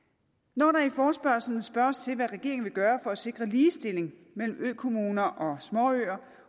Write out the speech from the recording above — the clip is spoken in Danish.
når der i forespørgslen spørges til hvad regeringen vil gøre for at sikre ligestilling mellem økommuner og småøer